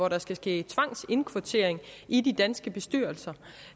at der skal ske tvangsindkvartering i de danske bestyrelser